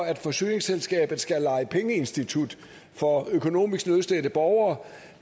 at forsyningsselskabet skal lege pengeinstitut for økonomisk nødstedte borgere